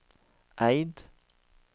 Eid